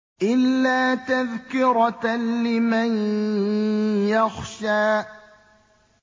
إِلَّا تَذْكِرَةً لِّمَن يَخْشَىٰ